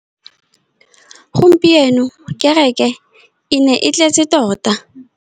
Gompieno kêrêkê e ne e tletse tota.